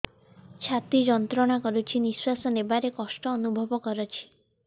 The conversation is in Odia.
ଛାତି ଯନ୍ତ୍ରଣା କରୁଛି ନିଶ୍ୱାସ ନେବାରେ କଷ୍ଟ ଅନୁଭବ କରୁଛି